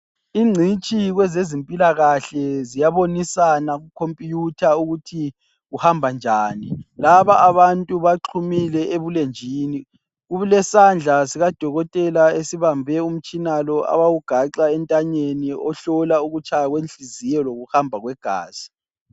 Ingcitshi kwezezimpilakahle ,ziyabonisana ku computer ukuthi kuhamba njani .Lababantu baxumile ebulenjini, kulesandla sikadokotela esibambe umtshina lo abawugaxa entanyeni ohlola ukutshaya kwenhliziyo lokuhamba kwegazi.